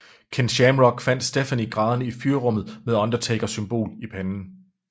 Ken Shamrock fandt Stephanie grædende i fyrrummet med Undertaker symbol i panden